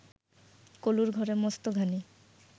কলুর ঘরে মস্ত ঘানি